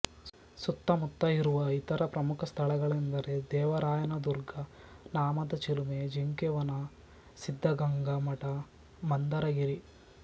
ಸುತ್ತ ಮುತ್ತ ಇರುವ ಇತರ ಪ್ರಮುಖ ಸ್ಥಳಗಳೆಂದರೆ ದೇವರಾಯನದುರ್ಗ ನಾಮದ ಚಿಲುಮೆ ಜಿಂಕೆ ವನ ಸಿದ್ದಗಂಗೆ ಮಠ ಮಂದರಗಿರಿ